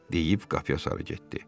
Deyib qapıya sarı getdi.